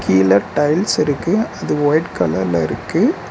கீழ டைல்ஸ் இருக்கு. அது ஒயிட் கலர்ல இருக்கு.